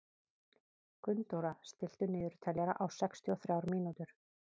Gunndóra, stilltu niðurteljara á sextíu og þrjár mínútur.